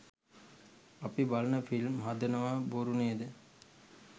අපි බලන ෆිල්ම් හදනවා බොරු නේද?